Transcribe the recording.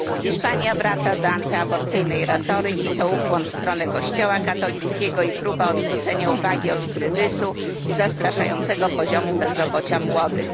Hiszpania wraca do antyaborcyjnej retoryki, to ukłon w stronę kościoła katolickiego i próba odwrócenia uwagi od kryzysu i zastraszającego poziomu bezrobocia młodych.